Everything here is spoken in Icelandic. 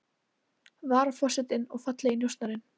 Varaforsetinn og fallegi njósnarinn